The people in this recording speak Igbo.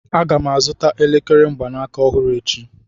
Aga m azụta elekere mgbanaka ọhụrụ echi